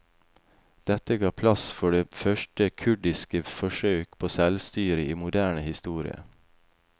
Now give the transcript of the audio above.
Dette ga plass for det første kurdiske forsøk på selvstyre i moderne historie.